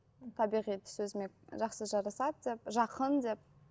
табиғи түс өзіме жақсы жарасады деп жақын деп